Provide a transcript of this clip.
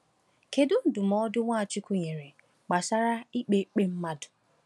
Kedu ndụmọdụ Nwachukwu nyere gbasara ikpe ikpe mmadụ?